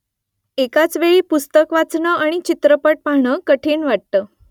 एकाच वेळी पुस्तक वाचणं आणि चित्रपट पाहणं कठीण वाटतं